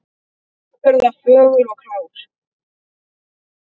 Afburða fögur og klár.